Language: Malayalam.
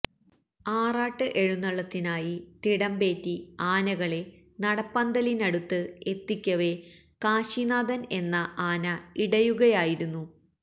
ആറാട്ട് എഴുന്നള്ളത്തിനായി തിടമ്പേറ്റി ആനകളെ നടപ്പന്തലിനടുത്ത് എത്തിക്കവെ കാശിനാഥന് എന്ന ആന ഇടയുകയായിരുന്നു